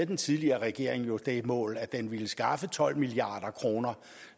den tidligere regering jo havde det mål at den ville skaffe tolv milliard kroner